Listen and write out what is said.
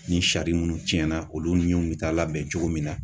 Ni sari minnu tiɲɛna olu ɲiw bi taa labɛn cogo min na.